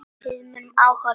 Við munum ávallt sakna þín.